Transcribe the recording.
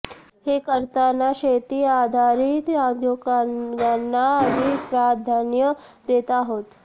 हे करताना शेती आधारित उद्योगांना अधिक प्राधान्य देत आहोत